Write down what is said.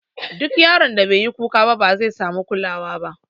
Duk yaron da beyi kuka ba, bazai samu kulawa ba.